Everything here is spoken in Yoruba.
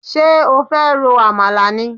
Ṣé o fẹ́ ro àmàlà ni?